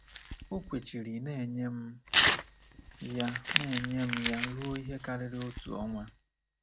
O kwechiri na-enye m ya na-enye m ya ruo ihe karịrị otu ọnwa.